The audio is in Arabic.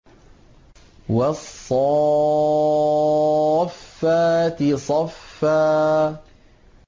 وَالصَّافَّاتِ صَفًّا